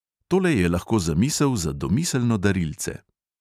Tole je lahko zamisel za domiselno darilce.